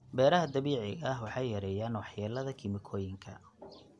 Beeraha dabiiciga ah waxay yareeyaan waxyeelada kiimikooyinka.